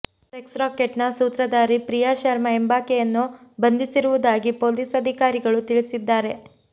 sex racket ನ ಸೂತ್ರಧಾರಿ ಪ್ರಿಯಾ ಶರ್ಮಾ ಎಂಬಾಕೆಯನ್ನು ಬಂಧಿಸಿರುವುದಾಗಿ ಪೊಲೀಸ್ ಅಧಿಕಾರಿಗಳು ತಿಳಿಸಿದ್ದಾರೆ